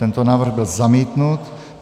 Tento návrh byl zamítnut.